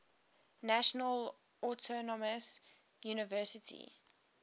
national autonomous university